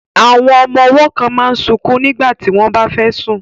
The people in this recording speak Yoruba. Àwọn ọmọ ọwọ́ kan máa sunkún nígbà tí wọ́n bá fẹ́ sùn